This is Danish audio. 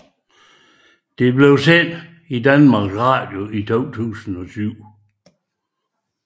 Det blev sendt på Danmarks Radio i 2007